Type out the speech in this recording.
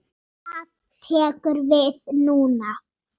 Hvað tekur við núna?